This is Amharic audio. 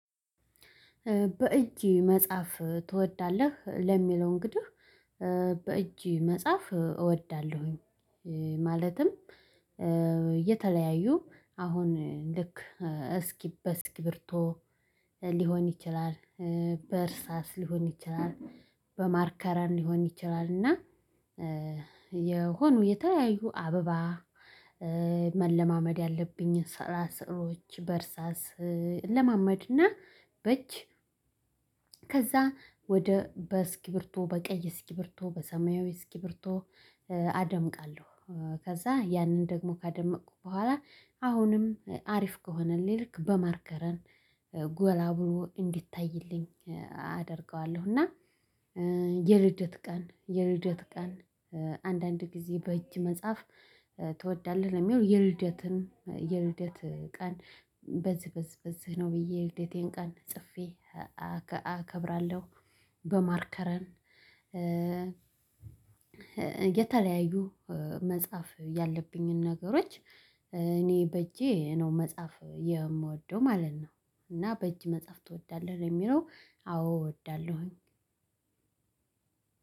በእጅ መጻፍ ትወዳለህ? ለሚለው እንግዲህ በእጅ መጻፍ እወዳለሁኝ። ማለትም እየተለያዩ አሁን ልክ በእስክርቢቶ ሊሆን ይችላል በእርሳስ ሊሆን ይችላል በማርከረን ሊሆን ይችላል። እና የሆኑ የተለያዩ አበባ መለማመድ ያለብኝ ስዕላ ስዕሎች በእርሳስ እለማመድና በእጅ ከዛ ወደ በስኪብርቶ በቀይ እስኪብርቶ በሰማያዊ እስኪ ብርቶ አደምቃለሁ። ከዛ ያንን ደግሞ ካደመቅኩ በኋላ አሁንም አሪፍ ከሆነኝ ልክ በማርከረን ጎላ ብሎ እንዲታይልኝ አደርገዋለሁ። እና የልደት ቀን የልደት ቀን አንዳንድ ጊዜ በእጅ መጽሐፍ ትወዳለህ? ለሚለው የልደትን የልደት ቀን በዝህ በዝህ በዝህ ነው ብዬ የልደቴን ቀን ጽፌ አከብራለሁ። በማርከረን የተለያዩ መጻፍ ያለብኝን ነገሮች እኔ በእጄ ነው መጻፍ የምወደው ማለት ነው። እና በእጅ መጽሐፍ ትወዳለህ? ለየሚለው አዎ እወዳለሁኝ።